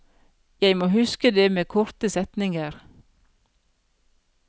Jeg må huske det med korte setninger.